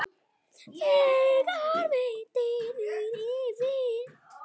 hvílíkt orð mig dynur yfir!